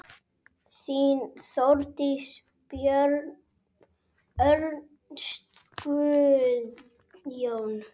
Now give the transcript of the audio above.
Þín, Þórdís, Björn, Örn, Guðjón.